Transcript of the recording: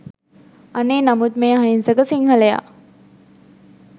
අනේ නමුත් මේ අහිංසක සිංහලයා